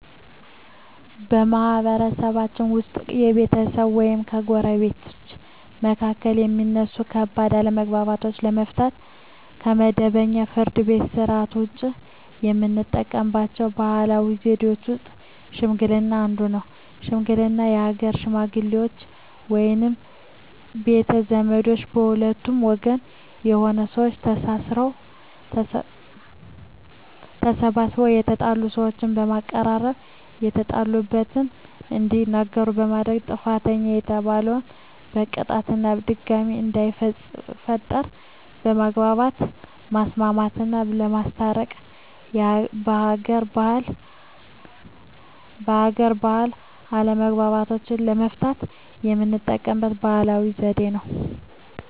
በማህበረሰብችን ውስጥ በቤተሰቦች ወይም በጎረቤቶች መካከል የሚነሱ ከባድ አለመግባባቶችን ለመፍታት (ከመደበኛው የፍርድ ቤት ሥርዓት ውጪ) የምንጠቀምባቸው ባህላዊ ዘዴዎች ውስጥ ሽምግልና አንዱ ነው። ሽምግልና የሀገር ሽመግሌዎች ወይም ቤተ ዘመዶች ከሁለቱም ወገን የሆኑ ሰዎች ተሰባስበው የተጣሉ ሰዎችን በማቀራረብ የተጣሉበትን እንዲናገሩ በማድረግ ጥፋተኛ የተባለን በቅጣት እና ድጋሜ እንዳይፈጠር በማግባባት ማስማማትና በማስታረቅ በሀገር ባህል አለመግባባቶችን ለመፍታት የምንጠቀምበት ባህላዊ ዘዴ ነው።